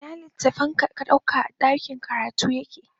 Ina littafin da ka ɗauka a ɗakin karatu yake?